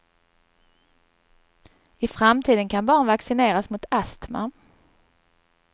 I framtiden kan barn vaccineras mot astma.